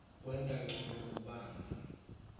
kwenta ncono kubamba